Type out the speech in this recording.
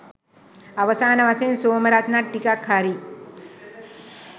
අවසාන වශයෙන් සෝමරත්නත් ටිකක් හරි